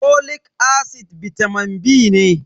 folic acid bitamin B ne.